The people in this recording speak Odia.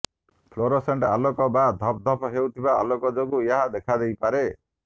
ଫ୍ଲୋରୋସେଣ୍ଟ ଆଲୋକ କିମ୍ବା ଧପ୍ ଧପ୍ ହେଉଥିବା ଆଲୋକ ଯୋଗୁଁ ଏହା ଦେଖାଦେଇପାରେ